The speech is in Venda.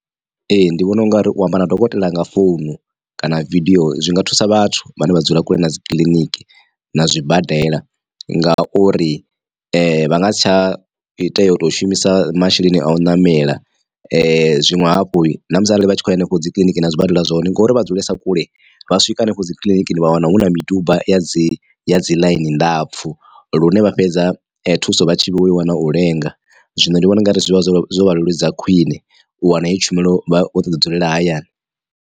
Ee ndi vhona ungari u amba na dokotela nga founu kana video zwi nga thusa vhathu vhane vha dzula kule na dzi kiḽiniki na zwibadela nga uri vha nga si tsha tea u tou shumisa masheleni a u namela. Zwinwe hafhu na musi arali vha tshi khou hanefho dzi kiḽiniki na zwibadela zwone ngori vha dzulesa kule vha swika hanefho dzi kiḽinikini vha wana hu na miduba ya dzi ya dzi ḽaini ndapfu lune vha fhedza thuso vha tshi vho i wana u lenga zwino ndi vhona ungari zwi vha zwo zwo vha leludza khwiṋe u wana heyo tshumelo vha vho to ḓi dzulela hayani.